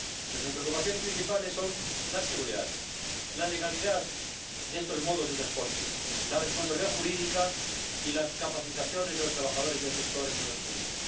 Nuestras preocupaciones principales son la seguridad, la legalidad de estos modos de transporte, la responsabilidad jurídica y las capacitaciones de los trabajadores del sector, entre otros puntos.